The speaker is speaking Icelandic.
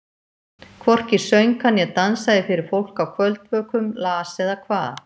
Hvorki söng hann né dansaði fyrir fólk á kvöldvökum, las eða kvað.